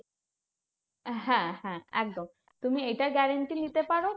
হ্যাঁ হ্যাঁ একদম, তুমি এটা guarantee নিতে পারো